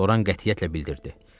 Loran qətiyyətlə bildirdi.